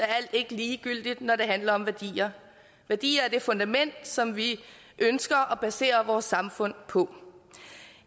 alt ikke ligegyldigt når det handler om værdier værdier er det fundament som vi ønsker at basere vores samfund på